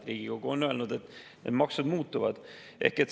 Riigikogu on öelnud, et maksud muutuvad.